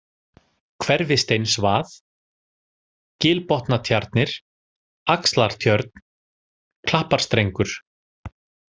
Hverfisteinsvað, Gilbotnatjarnir, Axlartjörn, Klapparstrengur